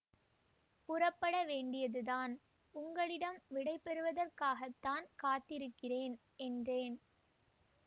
புறப்பட வேண்டியதுதான் உங்களிடம் விடை பெறுவதற்காகத்தான் காத்திருக்கிறேன் என்றேன்